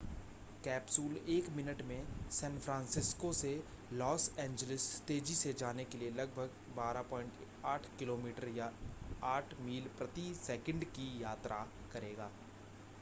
capsule एक minute में San Francisco से लॉस एंजिलस तेज़ी से जाने के लिए लगभग 12.8 किमी या 8 मील प्रति सेकंड की यात्रा करेगा